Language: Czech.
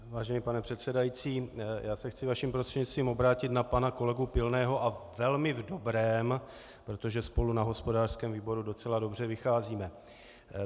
Vážený pane předsedající, já se chci vaším prostřednictvím obrátit na pana kolegu Pilného a velmi v dobrém, protože spolu na hospodářském výboru docela dobře vycházíme.